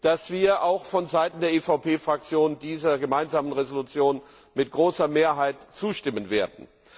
dass wir auch von Seiten der EVP Fraktion dieser gemeinsamen Entschließung mit großer Mehrheit zustimmen werden.